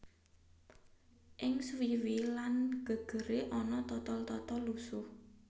Ing suwiwi lan gegere ana totol totol lusuh